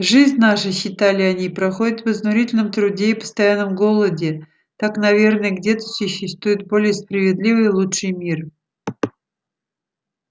жизнь наша считали они проходит в изнурительном труде и постоянном голоде так наверно где-то существует более справедливый и лучший мир